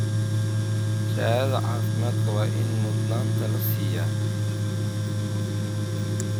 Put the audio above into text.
Shahaadada caafimaadka waa in mudnaanta la siiyaa.